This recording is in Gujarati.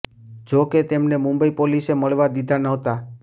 જો કે તેમને મુંબઈ પોલીસે મળવા દીધા નહતા